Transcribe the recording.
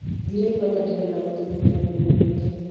"Ndĩraigua ta ndĩrendaga gũtigwo kĩrabuinĩ gĩkĩ.